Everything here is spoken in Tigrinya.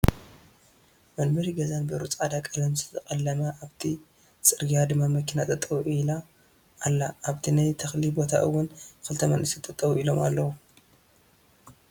መንበሪ ገዛን በሩ ፃዕዳ ቀለም ዝተቀለመ ኣብቲ ፅርግያ ድማ መኪና ጠጠው ኢላ ኣላ ኣብቲ ናይ ተክሊ ቦታ እውን ክልተ መናእሰይ ጠጠው ኢሎም ኣለው።